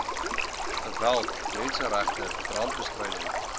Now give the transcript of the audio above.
geweld menseregte brandbestryding